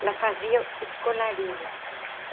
Ela fazia os colarinhos.